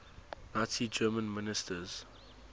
nazi germany ministers